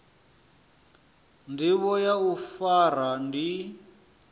ndivho ya u fara ndi